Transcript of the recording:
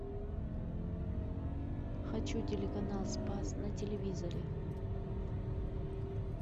хочу телеканал спас на телевизоре